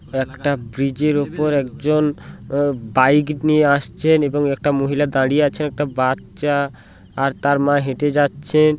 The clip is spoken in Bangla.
একটা ব্রিজের উপর একজন উ বাইক নিয়ে আসছেন এবং একটা মহিলা দাঁড়িয়ে আছে একটা বাচ্চা আর তার মা হেঁটে যাচ্ছে।